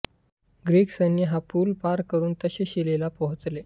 Greek सैन्य हा पूल पार करून तक्षशिलेला पोहोचले